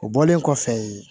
O bɔlen kɔfɛ yen